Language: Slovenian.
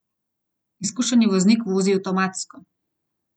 Izkušeni voznik vozi avtomatsko.